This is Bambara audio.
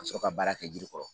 Sɔrɔ ka baara kɛ jiri kɔrɔ